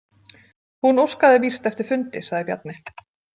Hún óskaði víst eftir fundi, sagði Bjarni.